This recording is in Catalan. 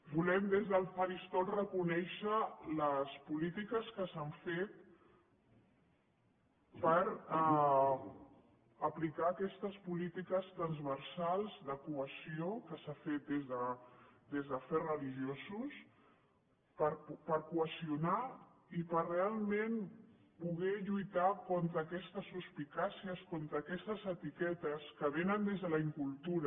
volem des del faristol reconèixer les polítiques que s’han fet per aplicar aquestes polítiques transversals de cohesió que s’han fet des d’afers religiosos per cohesionar i per realment poder lluitar contra aquestes suspicàcies contra aquestes etiquetes que vénen des de la incultura